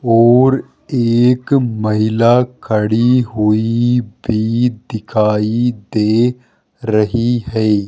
और एक महिला खड़ी हुई भी दिखाई दे रही है।